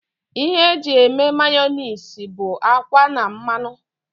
Ihe eji eme Mayọnais bụ akwa na mmanụ